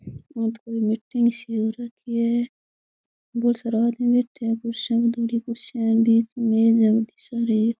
ओ तो कोई मिटिंग सी हो रखी है बहुत सारा आदमी बैठया है कुर्सियां में थोड़ी कुर्सियां है बीच में मेज है बढ़ी सारी।